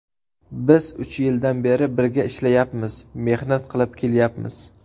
Biz uch yildan beri birga ishlayapmiz, mehnat qilib kelyapmiz.